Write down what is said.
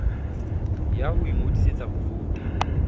ya ho ingodisetsa ho vouta